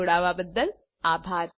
જોડાવા બદ્દલ આભાર